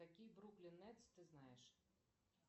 какие бруклин нетс ты знаешь